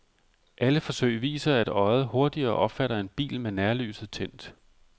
Alle forsøg viser, at øjet hurtigere opfatter en bil med nærlyset tændt.